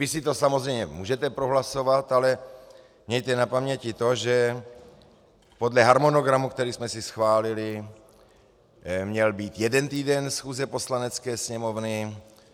Vy si to samozřejmě můžete prohlasovat, ale mějte na paměti to, že podle harmonogramu, který jsme si schválili, měl být jeden týden schůze Poslanecké sněmovny.